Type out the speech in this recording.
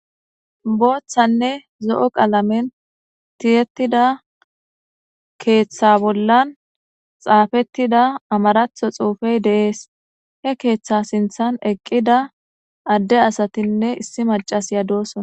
Booththanne zo'o qalamen tiyettida keeththa bollan xaafettida amaratho xuufey deees he keeththa sinthan eqqida adde asatinne issi macas ya dosona.